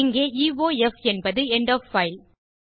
இங்கே இயோஃப் என்பது end of file